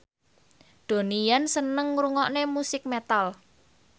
Donnie Yan seneng ngrungokne musik metal